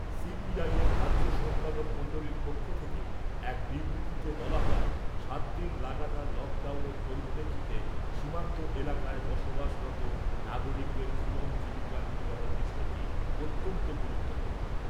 CPIM রাজ্য সম্পাদক মন্ডলীর পক্ষ থেকে এক বিবৃতিতে বলা হয় , সাতদিন লাগাতার লক ডাউনের পরিপ্রেক্ষিতে সীমান্ত এলাকায় বসবাসরত নাগরিকদের জীবন জীবিকা নির্বাহের বিষয়টি অত্যন্ত গুরুত্বপূর্ণ ।